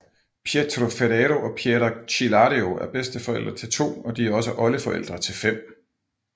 Pietro Ferrero og Piera Cillario er bedsteforældre til to og de er også oldeforældre til 5